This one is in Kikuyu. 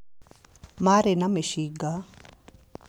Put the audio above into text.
Maarĩ na mĩcinga.